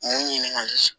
N ye n ɲininka